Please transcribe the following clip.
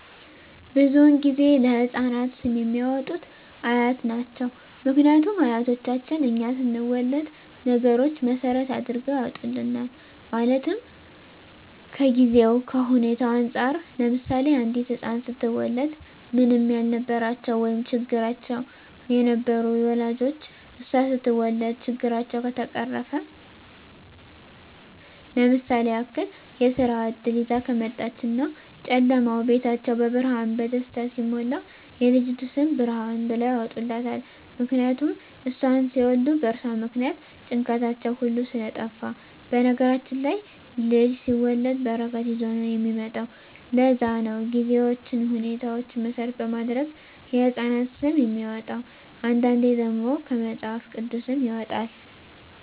ብዙዉን ጊዜ ለህፃናት ስም የሚያወጡት አያት ናቸዉ ምክንያቱም አያቶቻችን እኛ ስንወለድ ነገሮች መሰረት አድርገዉ ያወጡልናል ማለትም ከጊዜዉ ከሁኔታዉ እንፃር ለምሳሌ አንዲት ህፃን ስትወለድ ምንም ያልነበራቸዉ ወይም ቸግሯቸዉ የነበሩ ወላጆቿ እሷ ስትወለድ ችግራቸዉ ከተፈቀረፈ ለምሳሌ ያክል የስራ እድል ይዛ ከመጣች እና ጨለማዉ ቤታቸዉ በብርሃን በደስታ ሲሞላ የልጅቱ ስም ብርሃን ብለዉ ያወጡላታል ምክንያቱም እሷን ሲወልዱ በእርሷ ምክንያት ጭንቀታቸዉ ሁሉ ስለጠፍ በነገራችን ላይ ልጅ ሲወለድ በረከት ይዞ ነዉ የሚመጣዉ ለዛ ነዉ ጊዜዎችን ሁኔታዎች መሰረት በማድረግ የህፃናት ስም የሚወጣዉ አንዳንዴ ደግሞ ከመፅሀፍ ቅዱስም ይወጣል